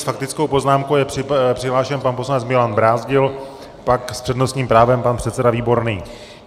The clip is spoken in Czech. S faktickou poznámkou je přihlášen pan poslanec Milan Brázdil, pak s přednostním právem pan předseda Výborný.